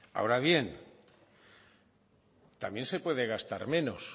ahora bien también se puede gastar menos